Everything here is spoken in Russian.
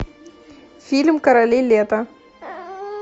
фильм короли лета